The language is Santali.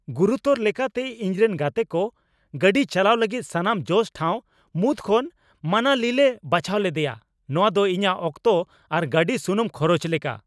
ᱜᱩᱨᱩᱛᱚᱨ ᱞᱮᱠᱟᱛᱮ, ᱤᱧ ᱨᱮᱱ ᱜᱟᱛᱮᱠᱚ ᱜᱟᱹᱰᱤ ᱪᱟᱞᱟᱣ ᱞᱟᱹᱜᱤᱫ ᱥᱟᱱᱟᱢ ᱡᱚᱥ ᱴᱷᱟᱶ ᱢᱩᱫᱽ ᱠᱷᱚᱱ ᱢᱟᱱᱟᱞᱤᱞᱮ ᱵᱟᱪᱷᱟᱣ ᱞᱮᱫᱮᱭᱟ? ᱱᱚᱶᱟ ᱫᱚ ᱤᱧᱟᱹᱜ ᱚᱠᱛᱚ ᱟᱨ ᱜᱟᱹᱰᱤ ᱥᱩᱱᱩᱢ ᱠᱷᱚᱨᱚᱪ ᱞᱮᱠᱟ ᱾